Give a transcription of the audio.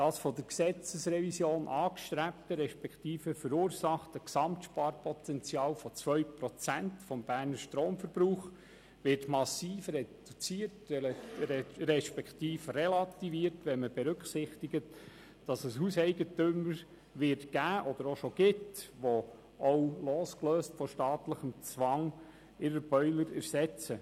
Das von der Gesetzesrevision angestrebte respektive verursachte Gesamtsparpotenzial von 2 Prozent des Berner Stromverbrauchs wird massiv reduziert respektive relativiert, wenn man berücksichtigt, dass es Hauseigentümer geben wird oder auch schon gibt, die ihre Boiler auch losgelöst von staatlichem Zwang ersetzen.